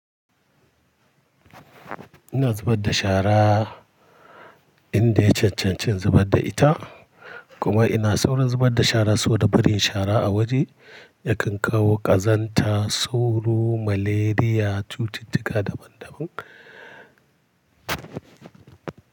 Ina zubar da shara in da ya cancanci in zubar da ita, kuma ina saurin zubar da shara saboda barin shara a waje ya kan kawo ƙazanta, tsoro, malaria, cututtuka daban daban.